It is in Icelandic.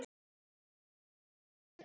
Mögnuð stund.